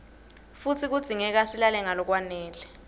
futsi kudzingeka silale ngalokwanele